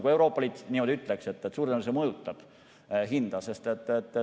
Kui Euroopa Liit niimoodi ütleks, siis suure tõenäosusega see mõjutaks hinda.